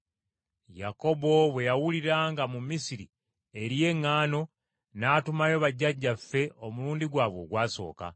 Yakobo bwe yawulira nga mu Misiri eriyo eŋŋaano n’atumayo bajjajjaffe, omulundi gwabwe ogwasooka.